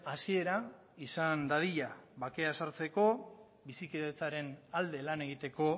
hasiera izan dadila bakea sartzeko bizikidetzaren alde lan egiteko